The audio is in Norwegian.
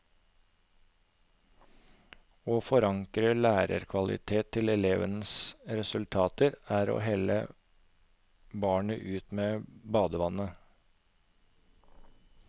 Å forankre lærerkvalitet til elevenes resultater er å helle barnet ut med badevannet.